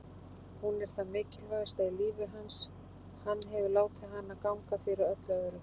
Hún er það mikilvægasta í lífi hans, hann hefur látið hana ganga fyrir öllu öðru.